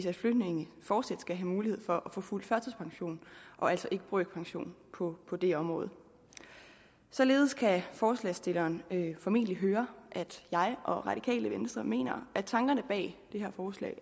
at flygtninge fortsat skal have mulighed for at få fuld førtidspension og altså ikke brøkpension på på det område således kan forslagsstillerne formentlig høre at jeg og radikale venstre mener at tankerne bag det her forslag